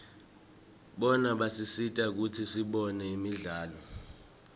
bona basisita kutsi sibone imidlalo